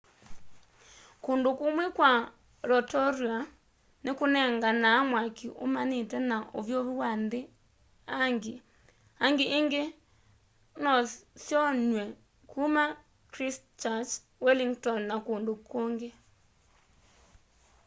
kũndũ kũmwe kwa rotorũa nĩkũnenganaa mwakĩ ũmanĩte na ũvyũvũ wa nthĩ hangĩ hangĩ ĩngĩ nosyonyw'e kũma christchurch wellington na kũndũ kũng'ĩ